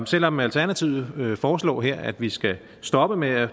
selv om alternativet foreslår her at vi skal stoppe med at